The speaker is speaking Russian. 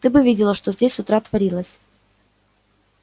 ты бы видела что здесь с утра творилось